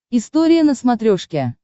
история на смотрешке